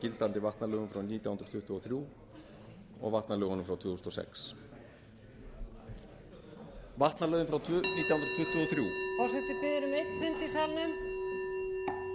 gildandi vatnalögum frá nítján hundruð tuttugu og þrjú og vatnalögunum frá tvö þúsund og sex vatnalögin frá nítján hundruð tuttugu og þrjú forseti biður um einn fund í salnum hljóð í salinn hljóð í hliðarsal líka forseti